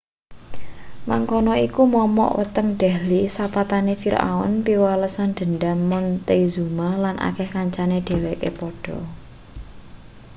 mangkono iku momok weteng delhi sepatane firaun piwalesan dhendham montezuma lan akeh kancane dheweke padha